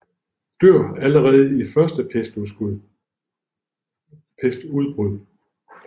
Dør allerede i det første pestudbrud